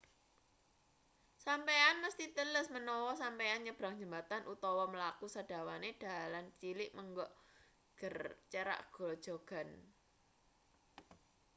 sampeyan mesthi teles menawa sampeyan nyebrang jembatan utawa mlaku sadawane dalan cilik menggok cerak grojogan